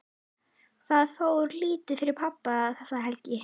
Það fór lítið fyrir pabba þessa helgi.